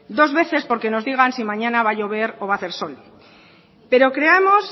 dos veces porque nos digan si mañana va a llover o va a hacer sol pero creemos